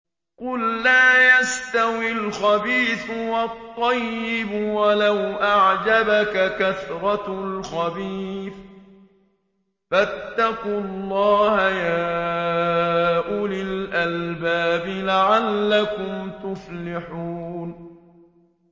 قُل لَّا يَسْتَوِي الْخَبِيثُ وَالطَّيِّبُ وَلَوْ أَعْجَبَكَ كَثْرَةُ الْخَبِيثِ ۚ فَاتَّقُوا اللَّهَ يَا أُولِي الْأَلْبَابِ لَعَلَّكُمْ تُفْلِحُونَ